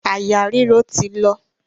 Àyà ríro ti lọ.